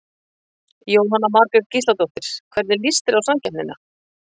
Jóhanna Margrét Gísladóttir: Hvernig líst þér á samkeppnina?